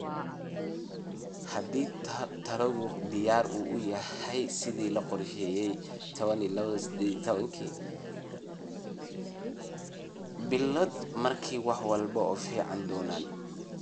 haddii tallaalku diyaar u yahay sidii la qorsheeyay 12-18 bilood, markaa wax walba way fiicnaan doonaan.